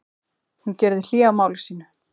Hún gerði hlé á máli sínu.